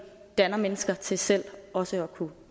danner mennesker til selv også at kunne